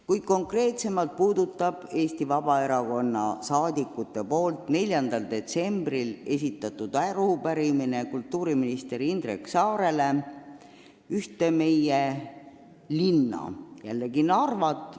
Kuid konkreetsemalt puudutab Eesti Vabaerakonna liikmete 4. detsembril esitatud arupärimine kultuuriminister Indrek Saarele ühte meie linna, jälle Narvat.